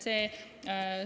Jah.